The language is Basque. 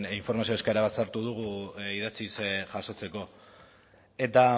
informazio eskaera bat sartu dugu idatziz jasotzeko eta